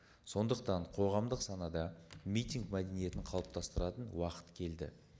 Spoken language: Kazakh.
сондықтан қоғамдық санада митинг мәдениетін қалыптастыратын уақыт келді